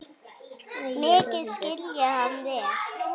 Mikið skil ég hann vel.